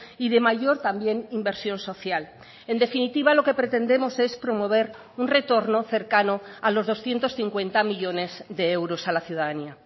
y de mayor también inversión social en definitiva lo que pretendemos es promover un retorno cercano a los doscientos cincuenta millónes de euros a la ciudadanía